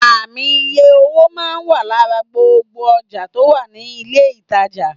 Ààmì iye owó máa n wà lára gbogbo ojà tò wà ní ilé ìtajà